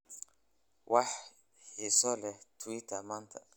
wax xiiso leh twitter maanta